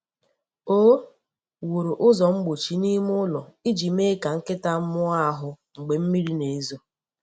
O wuru ụzọ mgbochi n'ime ụlọ iji mee ka nkịta mụọ ahụ mgbe mmiri na-ezo.